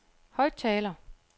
højttaler